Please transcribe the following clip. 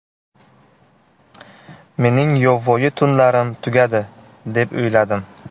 Mening yovvoyi tunlarim tugadi, deb o‘yladim.